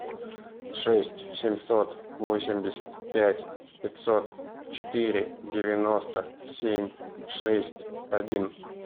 шесть семьсот восемьдесят пять пятьсот четыре девяносто семь шесть один